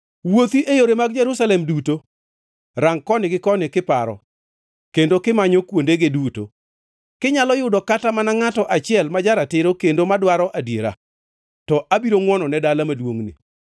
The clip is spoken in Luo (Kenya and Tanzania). “Wuothi e yore mag Jerusalem duto, rang koni gi koni kiparo, kendo kimanyo kuondege duto. Kinyalo yudo kata mana ngʼato achiel, ma ja-ratiro kendo madwaro adiera, to abiro ngʼwonone dala maduongʼni.